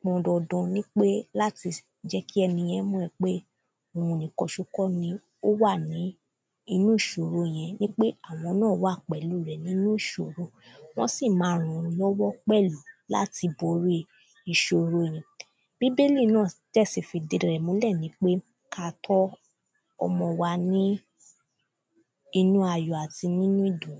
pọn dandan nípé láti jẹ́ kí ẹniyẹn mọ̀ pé òun nìkan ṣo kọ́ ni ó wà ní inú ìṣòro yẹn ipé àwọn náà wà pẹ̀lú rẹ̀ nínú ìṣòro Wọ́n sì ma ran wọ́n lọ́wọ́ pẹ̀lú láti borí ìṣòro yẹn Bíbélì náà dẹ̀ sì fi ìdí rẹ̀ múlẹ̀ nípé kí a tọ́ ọmọ wa ní inú ayọ̀ àti nínú ìdùnú